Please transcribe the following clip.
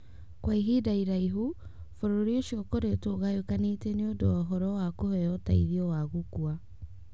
Kwa ihinda iraihu, bũrũri ũcio ũkoretwo ũgayũkanĩte nĩ ũndũ wa ũhoro wa kũheo ũteithio wa gũkua.